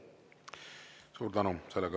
Suur tänu!